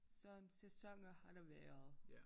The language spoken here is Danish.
Så en sæsoner har der været